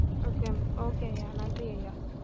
okay hmm okay ஐயா நன்றி ஐயா